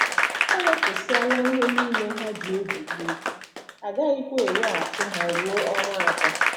E wepụsịala ihe nile ha ji egwurị egwu, a gaghịkwa eweghachi ha ruo ọnwa atọ.